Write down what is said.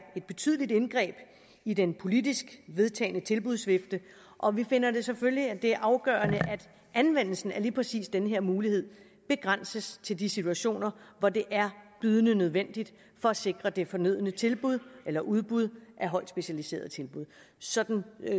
et betydeligt indgreb i den politisk vedtagne tilbudsvifte og vi finder selvfølgelig at det er afgørende at anvendelsen af lige præcis den her mulighed begrænses til de situationer hvor det er bydende nødvendigt for at sikre det fornødne tilbud eller udbud af højt specialiserede tilbud sådan